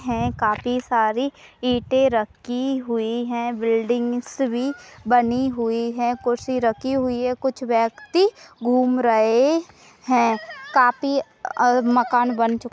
हैं काफी सारी ईंटे रखी हुई है बिल्डिंग्स भी बनी हुई है कुर्सी रखी हुई है कुछ व्यक्ति घूम रहे हैं काफी मकान बन चुके --